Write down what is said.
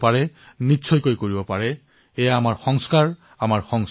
এয়াই আমাৰ সংস্কাৰ এয়াই আমাৰ সংস্কৃতি